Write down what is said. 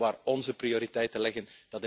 Ik weet wel waar onze prioriteiten liggen.